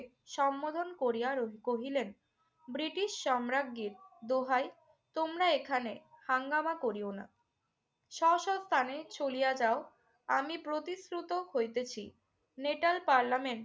সম্বোধন করিয়া কহিলেন, ব্রিটিশ সম্রাজ্ঞীর দোহাই তোমরা এখানে হাঙ্গামা করিও না। স্ব স্ব স্থানে চলিয়া যাও। আমি প্রতিশ্রুত হইতেছি নেটাল পার্লামেন্ট